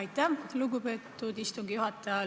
Aitäh, lugupeetud istungi juhataja!